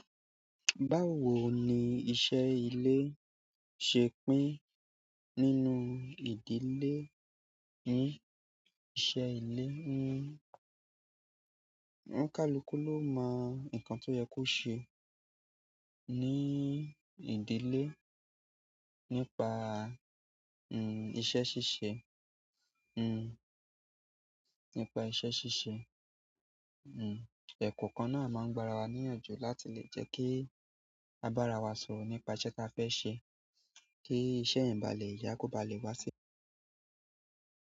Báwo ni iṣẹ́ ilé ṣe pín nínú ìdílé yín? Iṣẹ́ ilé, ni ọ́un kàluku ló mọ nǹkan tó yẹ kó ṣe ní ìdílé nípa, iṣẹ́ ṣíṣe, nípa iṣẹ́ ṣíṣe. Eẹ̀kọ́okan náà a máa ń gbara wa níyànjú láti lè jẹ́ kí a bára wa sọ̀rọ̀ nípa iṣẹ́ ta fẹ́ ṣe kí iṣẹ́ yen bá lé yá kó ba lè wá sí.